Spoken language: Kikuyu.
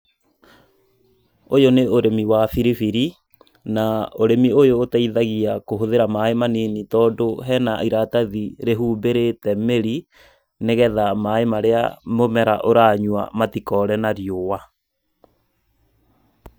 Ũyũ nĩ ũrĩmi wa biribiri, na ũrĩmi ũyũ ũteithagia kũhũthĩra maĩ manini tondũ hena iratathi rĩhumbĩrĩte mĩri, nĩgetha maĩ marĩa mũmera ũranyua matikore na riũa.